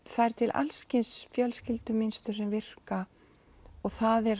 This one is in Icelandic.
það er til alls kyns fjölskyldumynstur sem virka það er